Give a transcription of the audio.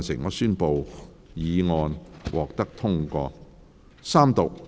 我宣布議案獲得通過。